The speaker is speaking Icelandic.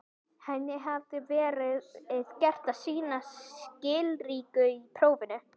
Henni hafði verið gert að sýna skilríki í prófinu.